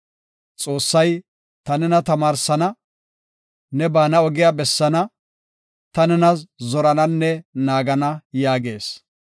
Xoossay, “Ta nena tamaarsana; ne baana ogiya bessaana; ta nena zorananne naagana” yaagees.